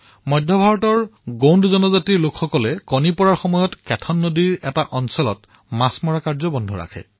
মধ্য ভাৰতৰ গোণ্ড জনজাতিয়ে প্ৰজনন ঋতুৰ সময়ত কেথন নদীৰ কিছু অংশত মাছ ধৰা বন্ধ কৰে